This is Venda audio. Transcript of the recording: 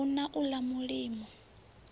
n ha u ḽa mulimo